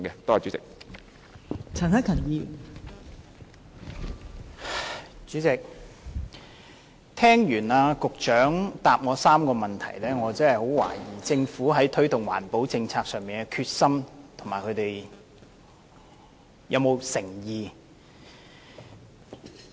代理主席，聽畢局長就我提出的3個問題的答覆後，我實在懷疑政府在推動環保政策上是否有決心和誠意？